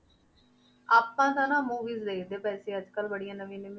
ਆਪਾਂ ਤਾਂ ਨਾ movies ਦੇਖਦੇ ਪਏ ਸੀ, ਅੱਜ ਕੱਲ੍ਹ ਬੜੀਆਂ ਨਵੀਂਆਂ ਨਵੀਆਂ,